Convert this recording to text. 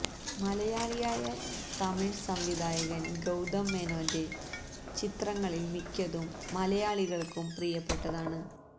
മലയാളിയായ തമിവ് സംവിധായകന് ഗൌതം മേനോന്റെ ചിത്രങ്ങളില് മിക്കതും മലയാളികള്ക്കും പ്രിയപ്പെട്ടതാണ്